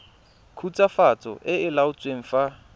khutswafatso e e laotsweng fa